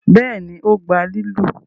béèni o gbà lilu?